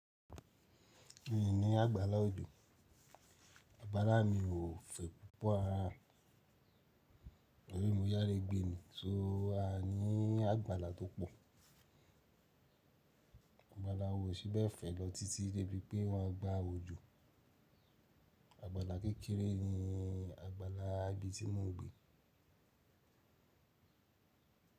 Mi ò ní àgbàlá òjò. Àgbàlá mi ò fẹ̀ púpọ̀ ara, ẹ̀yin mo yára gbé ni tó a ní àgbàlá tó pọ̀. Àgbàlá wo ò sí bẹ̀ fẹ̀ lọ títí débi pé wọ́n á gba òjò. Àgbàlá kékeré ni àgbàlá ibí ti mo n gbé.